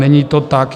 Není to tak.